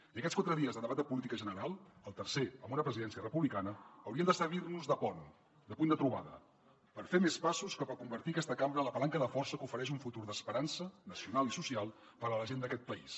i aquests quatre dies de debat de política general el tercer amb una presidència republicana haurien de servir nos de pont de punt de trobada per fer més passos cap a convertir aquesta cambra en la palanca de força que ofereix un futur d’esperança nacional i social per a la gent d’aquest país